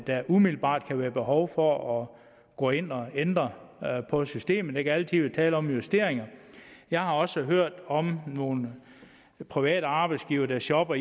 der umiddelbart kan være behov for at gå ind og ændre på systemet der kan altid være tale om justeringer jeg har også hørt om nogle private arbejdsgivere der shopper